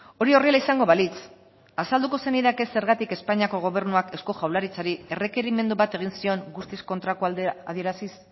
hori horrela izango balitz azalduko zenidake zergatik espainiako gobernuak eusko jaurlaritzari errekerimendu bat egin zion guztiz kontrakoa adieraziz